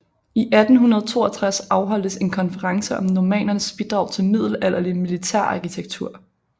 I 1862 afholdtes en konference om Normannernes bidrag til middelalderlig militærarkitektur